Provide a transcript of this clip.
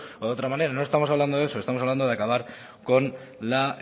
o de otra manera no estamos hablando de eso estamos hablando de acabar con la